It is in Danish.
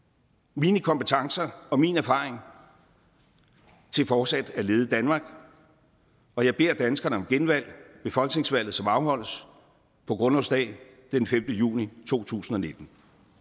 mine kompetencer og min erfaring til fortsat at lede danmark og jeg beder danskerne om genvalg ved folketingsvalget som afholdes på grundlovsdag den femte juni to tusind og nitten